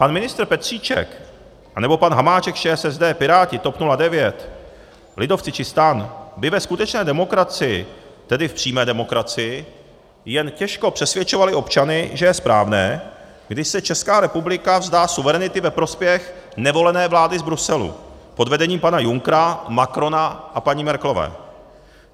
Pan ministr Petříček anebo pan Hamáček z ČSSD, Piráti, TOP 09, lidovci či STAN by ve skutečné demokracii, tedy v přímé demokracii, jen těžko přesvědčovali občany, že je správné, když se Česká republika vzdá suverenity ve prospěch nevolené vlády z Bruselu pod vedením pana Junckera, Macrona a paní Merkelové.